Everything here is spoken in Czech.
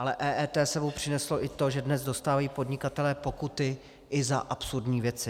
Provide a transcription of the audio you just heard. Ale EET s sebou přineslo i to, že dnes dostávají podnikatelé pokuty i za absurdní věci.